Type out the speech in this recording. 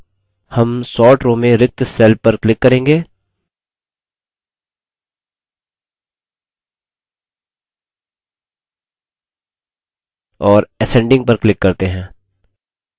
इसके लिए issuedate field के अंदर हम sort row में रिक्त cell पर click करेंगे और ascending पर click करते हैं